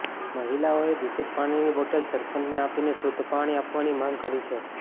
મહિલાઓએ દૂષિત પાણીની બોટલ સરપંચને આપીને શુદ્ધ પાણી આપવાની માંગ કરી છે